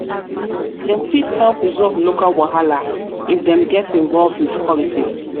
fit help resolve local wahala if dem get involved with politics